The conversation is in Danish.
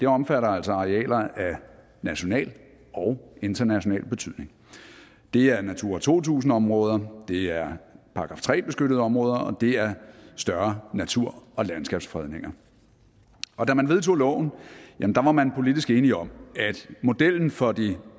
omfatter arealer af national og international betydning det er natur to tusind områder det er § tre beskyttede områder og det er større natur og landskabsfredninger og da man vedtog loven var man politisk enig om at modellen for de